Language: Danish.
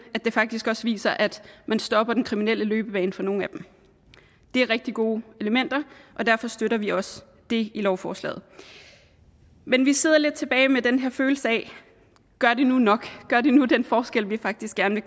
at det faktisk også viser at man stopper den kriminelle løbebane for nogle af dem det er rigtig gode elementer og derfor støtter vi også det i lovforslaget men vi sidder tilbage med den her følelse af gør det nu nok gør det nu den forskel vi faktisk gerne